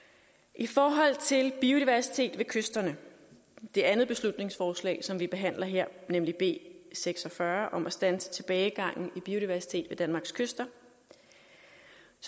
i forhold til biodiversitet ved kysterne det andet beslutningsforslag som vi behandler her nemlig b seks og fyrre om at standse tilbagegangen i biodiversitet ved danmarks kyster